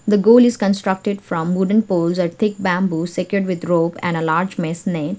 the goal is construted from wooden pole and thick bamboo secured with rope and a large mesh net.